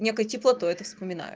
некой теплотой это вспоминаю